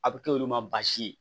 A bɛ k'olu ma baasi ye